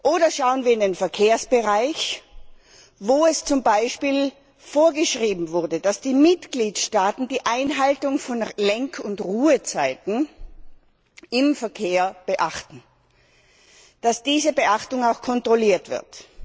Oder schauen wir in den Verkehrsbereich, wo es zum Beispiel vorgeschrieben wurde, dass die Mitgliedstaaten die Einhaltung von Lenk und Ruhezeiten im Verkehr beachten, dass diese Beachtung auch kontrolliert wird.